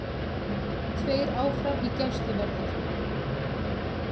Tveir áfram í gæsluvarðhaldi